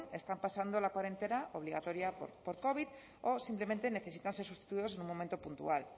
están pasando la para entera obligatoria por covid o simplemente necesitan ser sustituidos en un momento puntual la